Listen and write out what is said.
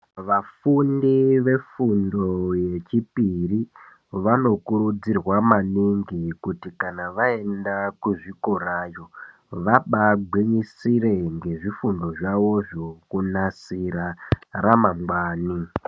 Vafundi vefundo yechipiri vanokurudzirwa maningi kuti kana vaenda kuzvikorayo vanobagwinyisire nezvifundo zvayozvo kunasira ramangwana.